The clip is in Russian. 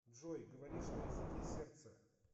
джой говоришь на языке сердца